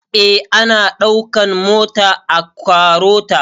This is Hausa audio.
Eh ana ɗaukan mata a KAROTA